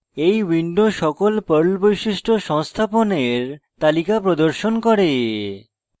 এই window সকল perl বৈশিষ্ট্য সংস্থাপনের তালিকা প্রদর্শন করে